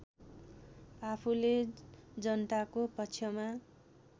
आफूले जनताको पक्षमा